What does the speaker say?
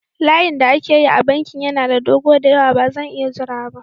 Layin da ake yi a bankin yana da dogo da yawa, ba zan iya jira ba.